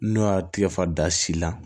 N'o y'a tigɛfa da si la